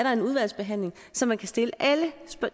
er en udvalgsbehandling så man kan stille alle